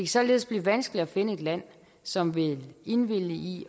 således blive vanskeligt at finde et land som vil indvillige i